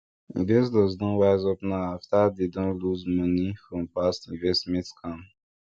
investors don wise up now after dem don lose money for past investment scam